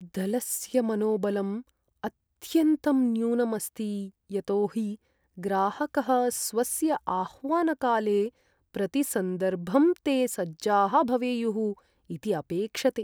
दलस्य मनोबलम् अत्यन्तं न्यूनम् अस्ति यतोहि ग्राहकः स्वस्य आह्वनकाले प्रतिसन्दर्भं ते सज्जाः भवेयुः इति अपेक्षते।